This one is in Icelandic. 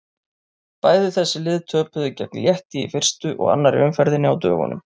Bæði þessi lið töpuðu gegn Létti í fyrstu og annarri umferðinni á dögunum.